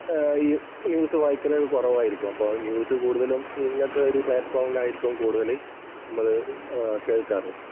News വായിക്കുന്നത് കുറവായിരിക്കും. അപ്പോൾ ന്യൂസ് കൂടുതലും ഇങ്ങനത്തെ ഒരു പ്ളാറ്റ്‌ഫോമില്‍ ആയിരിക്കും കൂടുതൽ നമ്മള് ആഹ് കേൾക്കാറ്.